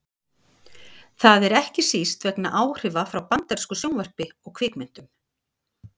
það er ekki síst vegna áhrifa frá bandarísku sjónvarpi og kvikmyndum